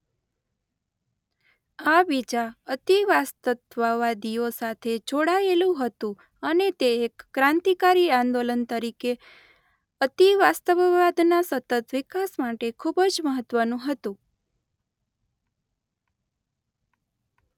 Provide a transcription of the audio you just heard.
આ બીજા અતિવાસ્તવવાદીઓ સાથે જોડાયેલું હતું અને તે એક ક્રાંતિકારી આંદોલન તરીકે અતિવાસ્તવવાદના સતત વિકાસ માટે ખૂબ જ મહત્વનું હતું.